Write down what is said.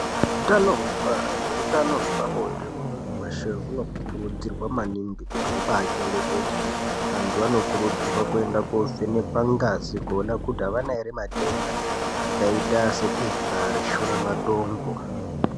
Hutano hwekubara nehutano hwepabonde hwemuntu weshe hunokurudzirwa maningi Kuti uchebgetedzwe antu anokurudzirwa kychengeta ngazi kuti avana here matenda akaita sendenda reshura matongo.